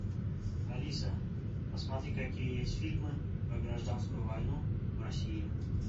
алиса посмотри какие есть фильмы про гражданскую войну в россии